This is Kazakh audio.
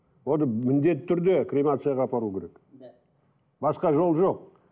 оны міндетті түрде кремацияға апару керек басқа жол жоқ